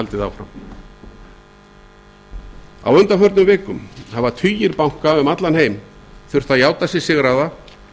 haldið áfram á undanförnum vikum hafa tugir banka um allan heim þurft að játa sig sigraða